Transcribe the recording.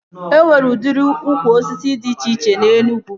E nwere udiri ukwu osisi dị iche na Enugwu